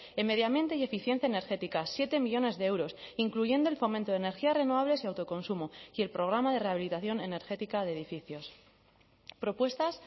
en medio ambiente y eficiencia energética siete millónes de euros incluyendo el fomento de energías renovables y autoconsumo y el programa de rehabilitación energética de edificios propuestas